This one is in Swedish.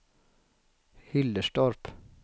Hillerstorp